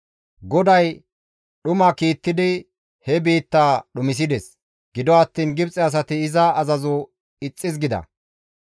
GODAY dhuma kiittidi he biitta dhumisides; gido attiin Gibxe asati iza azazo ixxis gida.